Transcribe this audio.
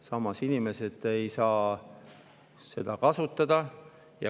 Samas ei saa inimesed neid kasutada.